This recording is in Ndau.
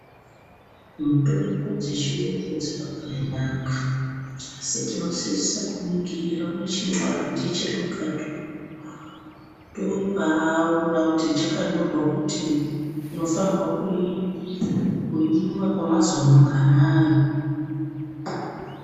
Mitombo dzechiyungu dzakabaanaka. Asi tinosisa kuningira muchinwadhi chiri mukati umo tombaona kuti chakanyorwa kutii. Tinofanira kuimwa kwemazuwa manganai?